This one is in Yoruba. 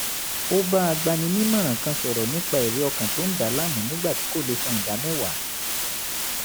ó bá agbaninímọ̀ràn kan sọ̀rọ̀ nípa ẹ̀rí ọkàn tó ń dà á láàmú nígbà tí kò lè san ìdámẹ́wàá